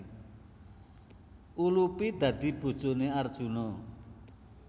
Ulupi dadi bojoné Arjuna